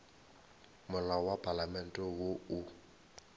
molao wa palamente wo o